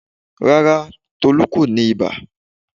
Rárá, Tolú kò ní ibà.